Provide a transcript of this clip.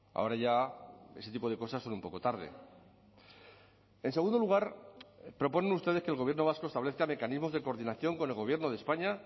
ahora ya ese tipo de cosas son un poco tarde en segundo lugar proponen ustedes que el gobierno vasco establezca mecanismos de coordinación con el gobierno de españa